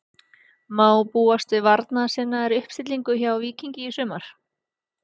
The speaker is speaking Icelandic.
Má búast við varnarsinnaðri uppstillingu hjá Víkingi í sumar?